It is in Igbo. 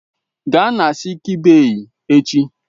Gaa na sịịk bèyí echi!